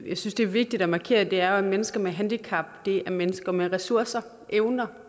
jeg synes er vigtigt at markere er mennesker med handicap er mennesker med ressourcer evner